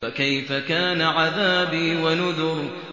فَكَيْفَ كَانَ عَذَابِي وَنُذُرِ